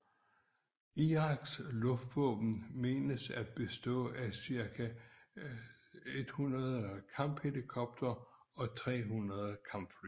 Iraks luftvåben mentes at bestå af cirka 100 kamphelikoptere og 300 kampfly